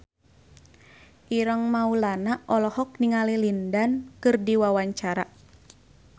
Ireng Maulana olohok ningali Lin Dan keur diwawancara